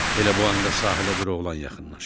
Elə bu anda sahilə bir oğlan yaxınlaşır.